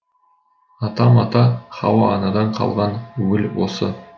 адам ата һауа анадан қалған уіл осы